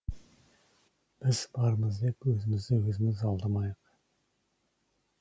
біз бармыз деп өзімізді өзіміз алдамайық